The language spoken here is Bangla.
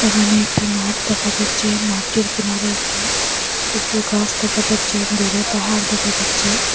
এখানে একটি মাঠ দেখা যাচ্ছে মাঠের কিনারে একটি উচু গাছ দেখা যাচ্ছে দূরে পাহাড় দেখা যাচ্ছে।